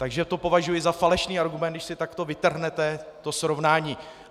Takže to považuji za falešný argument, když si takto vytrhnete to srovnání.